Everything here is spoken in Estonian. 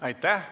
Aitäh!